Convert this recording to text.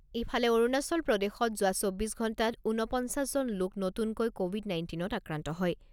ইফালে, অৰুণাচল প্ৰদেশত যোৱা চৌব্বিছ ঘণ্টাত ঊনপঞ্চাছ জন লোক নতুনকৈ ক’ভিড নাইণ্টিনত আক্ৰান্ত হয়।